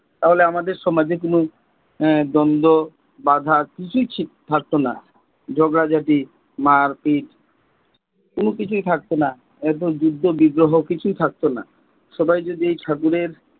তাহলে আমাদের সমাজে কোন দ্বন্দ্ব বাধা কিছুই থাকতো না, ঝগড়া ঝাটি মারপিট, কোন কিছুই থাকতো না। একদম যুদ্ধ বিগ্রহ কিছুই থাকতো না। সবাই যদি ঠাকুরের,